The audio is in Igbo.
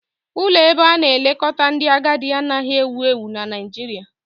Ụlọ ebe ana-elekọta ndị agadi anaghị ewu ewu na Nigeria